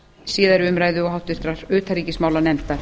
síðari umræðu og háttvirtrar utanríkismálanefndar